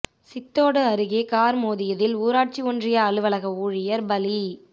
சித்தோடு அருகே காா் மோதியதில் ஊராட்சி ஒன்றிய அலுவலக ஊழியா் பலி